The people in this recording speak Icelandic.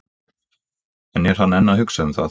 En er hann enn að hugsa um það?